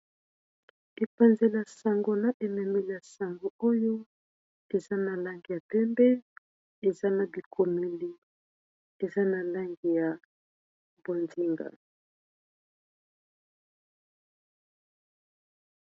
Logo ya C&D service immobilier ,Eza na langi ya bozinga, pembe na motane.